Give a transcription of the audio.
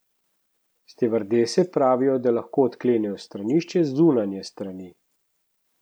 Stevardese pravijo, da lahko odklenejo stranišče z zunanje strani.